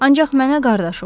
Ancaq mənə qardaş ol.